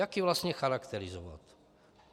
Jak ji vlastně charakterizovat.